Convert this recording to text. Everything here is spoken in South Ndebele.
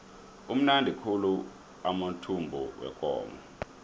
amnandi khulu amathumbu wekomo